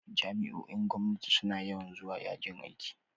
Jami'o'in gwamnati suna yawan zuwa yajin aiki.